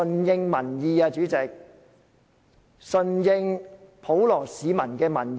主席，政府必須順應普羅市民的民意。